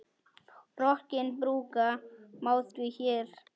Rokkinn brúka má því hér.